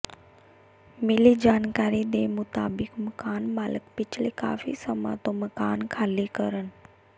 ਮਿਲੀ ਜਾਣਕਾਰੀ ਦੇ ਮੁਤਾਬਿਕ ਮਕਾਨ ਮਾਲਕ ਪਿਛਲੇ ਕਾਫ਼ੀ ਸਮਾਂ ਤੋਂ ਮਕਾਨ ਖਾਲੀ ਕਰਨ